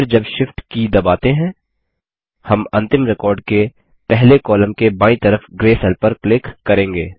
फिर जब Shift की दबाते हैं हम अंतिम रिकॉर्ड के पहले कॉलम के बायीं तरफ ग्रे सेल पर क्लिक करेंगे